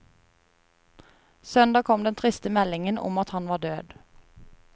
Søndag kom den triste meldingen om at han var død.